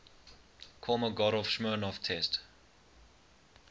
kolmogorov smirnov test